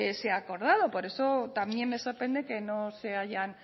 se ha acordado por eso también me sorprende que no se hayan